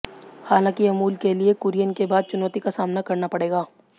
हालांकि अमूल के लिए कुरियन के बाद चुनौती का सामना करना पड़ेगा